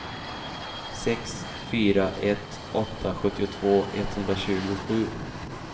sex fyra ett åtta sjuttiotvå etthundratjugosju